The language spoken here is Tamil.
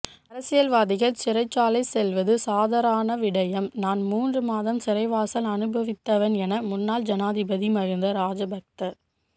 அரசியல்வாதிகள் சிறைச்சாலை செல்வது சாதராண விடயம் நான் மூன்று மாத சிறைவாசம் அனுபவித்தவன் என முன்னாள் ஜனாதிபதி மகிந்த ராஜபக்ச